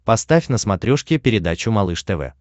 поставь на смотрешке передачу малыш тв